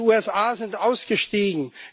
Die USA sind ausgestiegen.